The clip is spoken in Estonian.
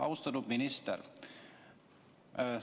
Austatud minister!